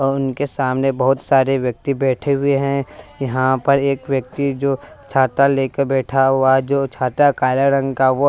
और उनके सामने बहुत सारे व्यक्ति बैठे हुए हैं यहाँ पर एक व्यक्ति जो छाता लेकर बैठा हुआ है जो छाता काले रंग का वो--